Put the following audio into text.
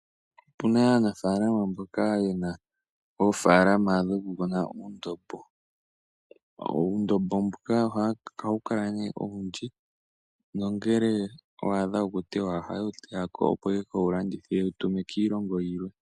Opuna aanafaalama mboka yena oofaalama dhoku kuna uundombo . Uundombo mbuka ohawu kala ne owundji nongele wa adha okutewa ohaye wu teya ko opo yeke wu landithe po yewu tume kiilongo yimwe.